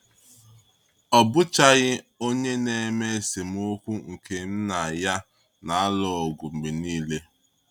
Ọ bụchaghị onye na-eme esemokwu nke m na ya na-alụ ọgụ mgbe niile.